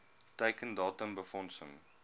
teiken datum befondsing